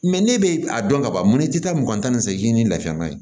ne bɛ a dɔn ka ban mun tɛ taa mugan tan ni seegin ni lafiya man ɲi